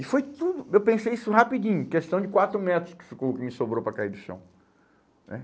E foi tudo, eu pensei isso rapidinho, questão de quatro metros que ficou, que me sobrou para cair do chão né.